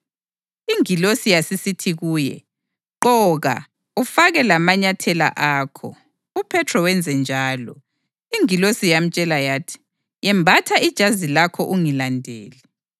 Ingilosi yasisithi kuye, “Gqoka, ufake lamanyathela akho.” UPhethro wenzenjalo. Ingilosi yamtshela yathi, “Yembatha ijazi lakho ungilandele.”